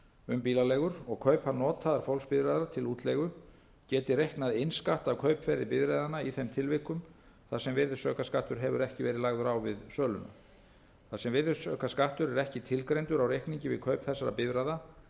um bílaleigur og kaupa notaðar fólksbifreiðar til útleigu geti reiknað innskatt af kaupverði bifreiðanna í þeim tilvikum þar sem virðisaukaskattur hefur ekki verið lagður á við söluna þar sem virðisaukaskattur er ekki tilgreindur á reikningi við kaup þessara bifreiða er